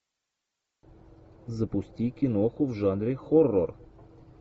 запусти киноху в жанре хоррор